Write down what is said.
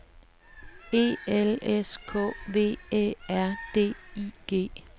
E L S K V Æ R D I G